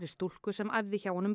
stúlku sem æfði hjá honum